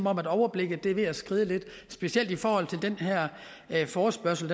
at overblikket er ved at skride lidt specielt i for den her forespørgsel